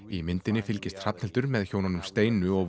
í myndinni fylgist Hrafnhildur með hjónunum Steinu og